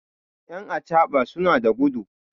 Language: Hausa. yan acaɓa suna da gudu